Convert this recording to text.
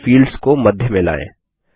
और फिर फील्ड्स को मध्य में लाएँ